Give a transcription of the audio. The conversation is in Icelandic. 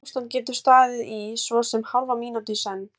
Þetta ástand getur staðið í svo sem hálfa mínútu í senn.